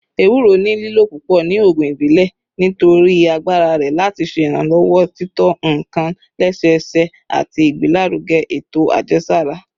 Ewuro ni lilo pupọ ni oogun ibile nitori agbara rẹ lati ṣe iranlọwọ tito nkan lẹsẹsẹ ati igbelaruge eto ajẹsara